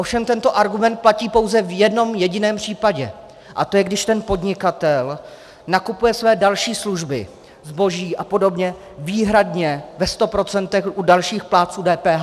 Ovšem tento argument platí pouze v jednom jediném případě, A to je, když ten podnikatel nakupuje své další služby, zboží a podobně, výhradně ve 100 % u dalších plátců DPH.